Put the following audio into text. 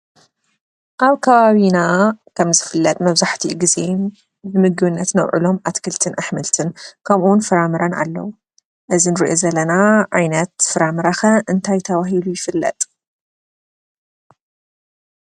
ኣብ ከባቢና ከም ዝፍለጥ መብዛሕትኡ ግዜ ንምግብነት ነውዕሎም ኣትክልትን ኣሕምልትን ፍራምረን ኣለው። እዚ ንሪኦ ዘለና ዓይነት ፍራምረ ኸ እንታይ ተባሂሉ ይፍለጥ ?